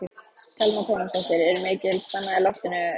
Telma Tómasson: Er mikil spenna í loftinu Heimir Már?